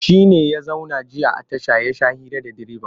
Shi ne ya zauna jiya a tasha ya sha hira da direban?